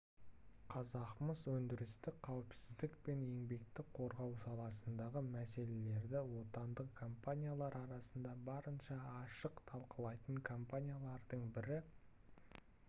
қазақмыс өндірістік қауіпсіздік пен еңбекті қорғау саласындағы мәселелерді отандық компаниялар арасында барынша ашық талқылайтын компаниялардың бірі